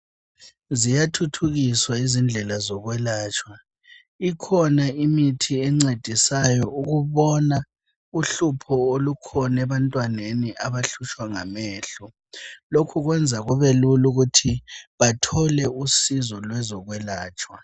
Ziyathuthukiswa izindlela zokwelatshwa ikhona imithi encedisayo ukubona uhlupho olukhona ebantwaneni abahlutshwa ngamehlo lokhu kwenza kubelula ukuthi bathole usizo ngezokwelatshwa.